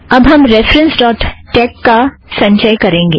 अब हम references dot tex का संचय करेंगे